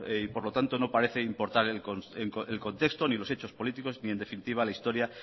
y por lo tanto no parece importar el contexto ni los hechos políticos ni en definitiva la historia